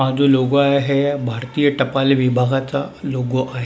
हा जो लोगो आहे भारतीय टपाल विभागाचा लोगो आहे.